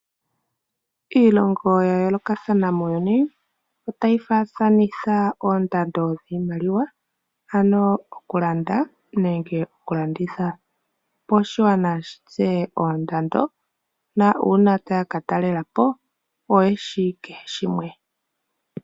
Iilongo ya yoolokathana muuyuni otayi faathanitha oondando dhiimaliwa, ano okulanda nenge okulanditha. Opo oshigwana shi tseye oondando na uuna taya ka talela po oyeshi kehe shimwe.